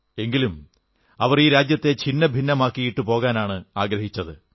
എങ്കിലും അവർ ഈ രാജ്യത്തെ ഛിന്നഭിന്നമാക്കിയിട്ട് പോകാനാണ് ആഗ്രഹിച്ചത്